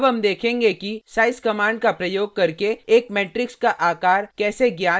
अब हम देखेंगे कि size कमांड का प्रयोग करके एक मेट्रिक्स का आकार कैसे ज्ञात किया जाता है